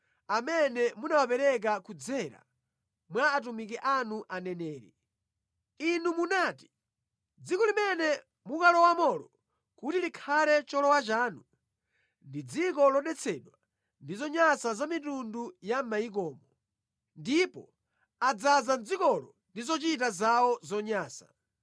amene munawapereka kudzera mwa atumiki anu aneneri. Inu munati, ‘Dziko limene mukulowamolo kuti likhale cholowa chanu, ndi dziko lodetsedwa ndi zonyansa za mitundu ya mʼmayikomo. Ndipo adzaza dzikolo ndi zochita zawo zonyansa.